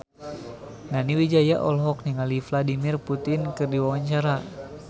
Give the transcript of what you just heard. Nani Wijaya olohok ningali Vladimir Putin keur diwawancara